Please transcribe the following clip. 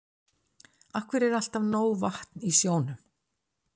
Af hverju er alltaf nóg vatn í sjónum?